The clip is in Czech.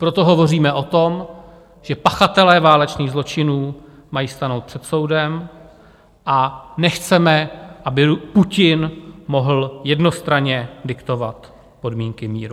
Proto hovoříme o tom, že pachatelé válečných zločinů mají stanout před soudem, a nechceme, aby Putin mohl jednostranně diktovat podmínky míru.